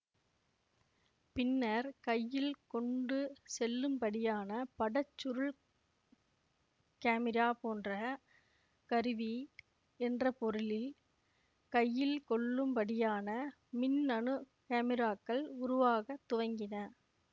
பின்னர் கையில் கொண்டு செல்லும்படியான பட சுருள் காமிரா போன்ற கருவி என்ற பொருளில் கையில் கொள்ளும்படியான மின்னணு காமிராக்கள் உருவாகத் துவங்கின